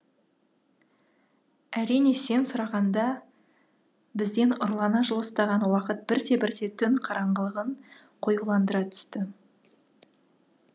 әрине сен сұрағанда бізден ұрлана жылыстаған уақыт бірте бірте түн қараңғылығын қоюландыра түсті